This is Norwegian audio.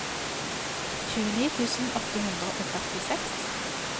tjueni tusen åtte hundre og førtiseks